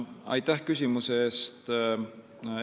Aitäh küsimuse eest!